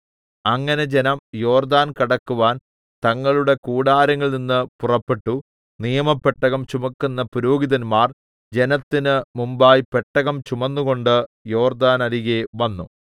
അങ്ങനെ ജനം യോർദ്ദാൻ കടക്കുവാൻ തങ്ങളുടെ കൂടാരങ്ങളിൽനിന്ന് പുറപ്പെട്ടു നിയമപെട്ടകം ചുമക്കുന്ന പുരോഹിതന്മാർ ജനത്തിന് മുമ്പായി പെട്ടകം ചുമന്നുകൊണ്ട് യോർദ്ദാനരികെ വന്നു